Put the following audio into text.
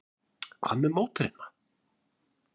Hvað með mótherjana?